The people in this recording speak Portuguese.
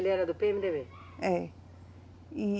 Ele era do PêeMeDêBê? É, e